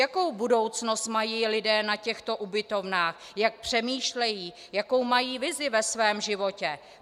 Jakou budoucnost mají lidé na těchto ubytovnách, jak přemýšlejí, jakou mají vizi ve svém životě?